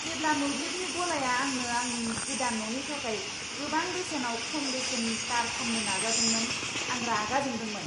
जेब्ला मोब्लिबनि गलाया आंनो आंनि गोदान न'नि थाखाय गोबां बेसेनाव खम बेसेननि तार फान्नो नाजादोंमोन, आं रागा जोंदोंमोन।